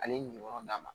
Ale ye nin yɔrɔ d'a ma